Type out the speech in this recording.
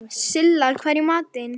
Silla, hvað er í matinn?